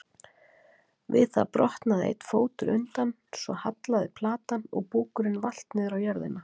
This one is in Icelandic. Við það brotnaði einn fótur undan svo hallaði platan og búkurinn valt niður á jörðina.